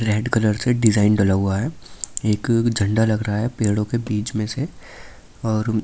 red colour से design डला हुआ है एक झंडा लग रहा है पेड़ों के बीच में से और--